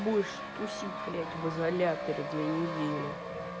будешь тусить блять в изоляторе две недели